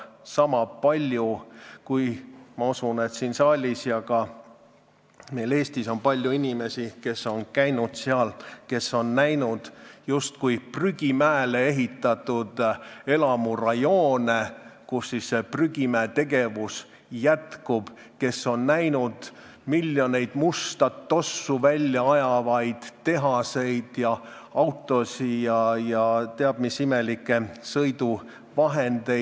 Ma usun, et Eestis ja ka siin saalis on palju inimesi, kes on seal käinud ja on näinud justkui prügimäele ehitatud elamurajoone, kus see prügimäetegevus jätkub, kes on näinud miljoneid musta tossu välja ajavaid tehaseid ja autosid ning kes teab mis imelikke sõiduvahendeid.